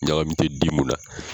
Ɲagami tɛ di mun na.